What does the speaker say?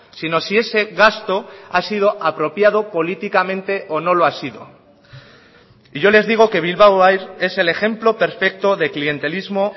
sino si ese gasto ha sido apropiado políticamente o no lo ha sido y yo les digo que bilbao air es el ejemplo perfecto de clientelismo